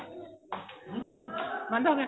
ਬੰਦ ਹੋਗਿਆ